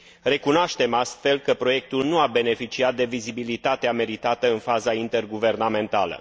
Recunoaștem astfel că proiectul nu a beneficiat de vizibilitatea meritată în faza interguvernamentală.